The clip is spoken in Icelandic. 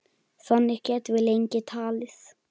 Þannig gætum við lengi talið.